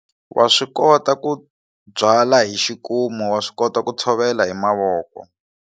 Wa swi kota ku byala hi xikuma wa swi kota ku tshovela hi mavoko.